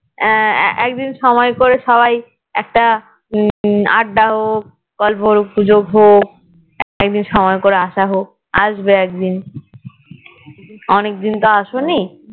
আহ একদিন সময় করে সবাই একটা উম আড্ডা হোক গল্প গুজব হোক একদিন সময় করে আসা হোক আসবে একদিন অনেকদিন তো আসোনি